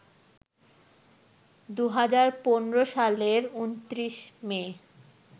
২০১৫ সালের ২৯ মে